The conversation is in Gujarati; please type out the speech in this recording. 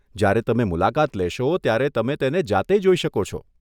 જ્યારે તમે મુલાકાત લેશો, ત્યારે તમે તેને જાતે જોઈ શકો છો.